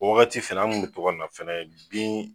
O wagati fɛnɛ an kun mi to kana fɛnɛ bin